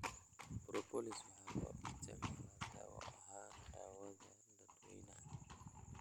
Propolis waxaa loo isticmaalaa dawo ahaan daawada dadwaynaha